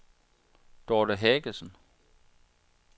Dorte Haagensen